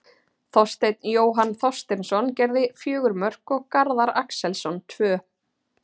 Þorsteinn Jóhann Þorsteinsson gerði fjögur mörk og Garðar Axelsson tvö.